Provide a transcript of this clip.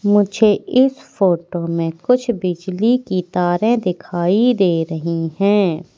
मुझे इस फोटो में कुछ बिजली की तारें दिखाई दे रही हैं।